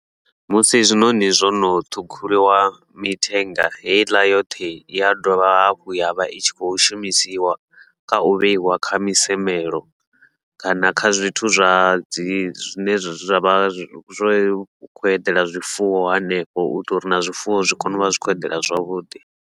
Musi zwiṋoṋi zwono ṱhukhuliwa mithenga heiḽa yoṱhe, ia dovha hafhu yavha itshi khou shumisiwa kha u vheiwa kha misamelo kana kha zwithu zwa dzi zwine zwa vha zwo khou eḓela zwifuwo hanefho, uitela uri na zwifuwo zwi kone uvha zwi khou eḓela zwavhuḓi.